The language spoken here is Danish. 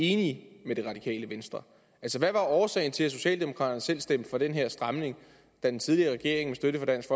enige med det radikale venstre hvad var årsagen til at socialdemokraterne selv stemte for den her stramning da den tidligere regering med støtte fra dansk